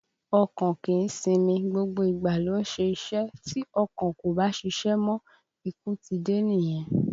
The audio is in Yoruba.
Ọkàn kìí sinmi, gbogbo ìgbà ló ń ṣe iṣẹ́, tí ọkàn kò bá ṣiṣẹ́ mọ́, ikú ti dé nìyẹn